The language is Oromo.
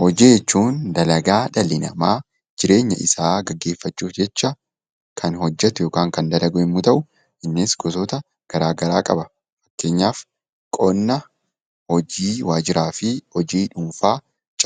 Hojii jechuun dalagaa dhalli namaa jireenya isaa gaggeeffachuu jecha kan hojjetu (kan dalagu) yommuu ta'u, innis gosoota garaagaraa qaba. Fakkeenyaaf, qonna, hojii waajjiraa fi hojii dhuunfaa